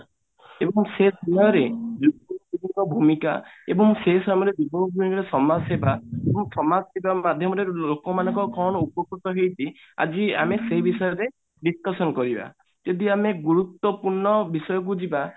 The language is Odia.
ଏବଂ ସେ ସମୟରେ ଭୂମିକା ଏବଂ ସେ ସମୟରେ ଙ୍କ ସମାଜ ସେବା ଏବଂ ସମାଜ ସେବା ମାଧ୍ୟମରେ ଲୋକମାନଙ୍କ କଣ ଉପକୃତ ହେଇଛି ଆଜି ଆମେ ସେଇ ବିଷୟରେ discussion କରିବା ଯଦି ଆମେ ଗୁରୁତ୍ବପୂର୍ଣ ବିଷୟକୁ ଯିବା